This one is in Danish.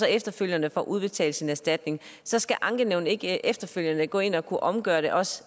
efterfølgende får udbetalt sin erstatning så skal ankenævnet ikke efterfølgende kunne gå ind og omgøre det også